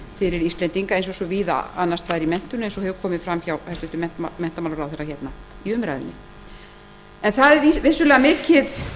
fyrir íslendinga eins og svo víða annars staðar í menntun það hefur komið fram hjá hæstvirtum menntamálaráðherra hér í umræðunni þau eru vissulega mikið